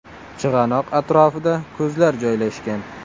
Chig‘anoq atrofida ko‘zlar joylashgan.